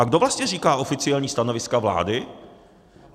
A kdo vlastně říká oficiální stanoviska vlády?